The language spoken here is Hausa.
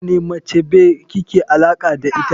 Wane mace be kike alaka da ita.